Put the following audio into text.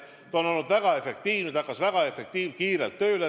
See on olnud väga efektiivne, see hakkas väga kiirelt tööle.